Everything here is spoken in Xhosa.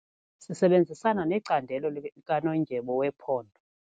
Sisebenzisana necandelo likanondyebo wephondo.